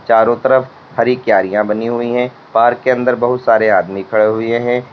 चारों तरफ हरी क्यारियां बनी हुई है पार्क के अंदर बहुत सारे आदमी खड़े हुए हैं।